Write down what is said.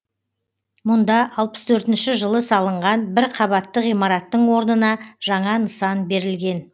мұнда алпыс төртінші жылы салынған бір қабатты ғимараттың орнына жаңа нысан берілген